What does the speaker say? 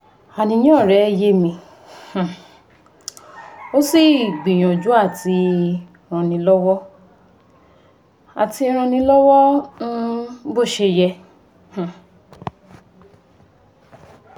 Àníyàn rẹ́ yé mi n um ó sì gbìyànjú àti rànẹ́ lọ́wọ́ àti rànẹ́ lọ́wọ́ um bó ṣe yẹ um